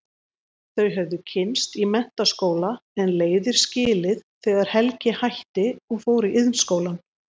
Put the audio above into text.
Þau höfðu kynnst í menntaskóla en leiðir skilið þegar Helgi hætti og fór í Iðnskólann.